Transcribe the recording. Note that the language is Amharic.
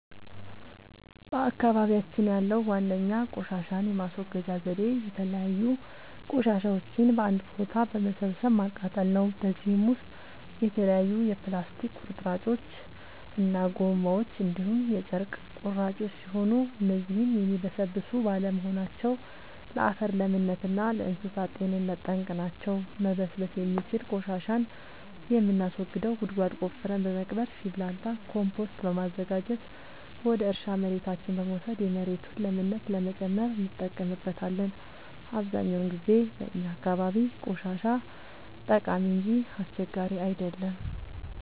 በአካባቢያችን ያለዉ ዋነኛ ቆሻሻን የማስወገጃ ዘዴ የተለያዩ ቆሻሻዎችን በአንድ ቦታ በመሰብሰብ ማቃጠል ነው። በዚህም ውስጥ የተለያዩ የፕላስቲክ ቁርጥራጮች እና ጎማዎች እንዲሁም የጨርቅ ቁራጮች ሲሆኑ እነዚህም የሚበሰብሱ ባለመሆናቸው ለአፈር ለምነት እና ለእንሳሳት ጤንነት ጠንቅ ናቸው። መበስበስ የሚችል ቆሻሻን የምናስወግደው ጉድጓድ ቆፍረን በመቅበር ሲብላላ ኮምቶስት በማዘጋጀት ወደ እርሻ መሬታችን በመውሰድ የመሬቱን ለምነት ለመጨመር እንጠቀምበታለን። አብዛኛውን ጊዜ በእኛ አካባቢ ቆሻሻ ጠቃሚ እንጂ አስቸጋሪ አይደለም።